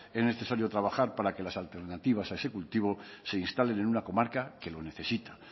es necesario trabajar para que las alternativas a este cultivo se instalen en una comarca que lo necesita